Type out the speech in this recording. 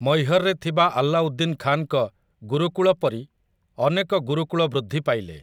ମୈହରରେ ଥିବା ଆଲ୍ଲାଉଦ୍ଦିନ୍ ଖାନ୍‌ଙ୍କ ଗୁରୁକୁଳ ପରି ଅନେକ ଗୁରୁକୁଳ ବୃଦ୍ଧି ପାଇଲେ ।